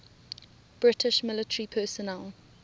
british military personnel